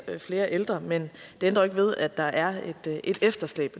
flere ældre men det ændrer ikke ved at der er et efterslæb